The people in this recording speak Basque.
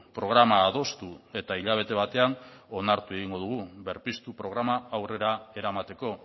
programa adostu eta hilabete batean onartu egingo dugu berpiztu programa aurrera eramateko